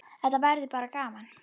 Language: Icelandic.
Þetta verður bara gaman.